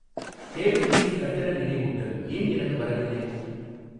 Cable TV கட்டண நினைவூட்டல் ஏன் எனக்கு வரவில்லை?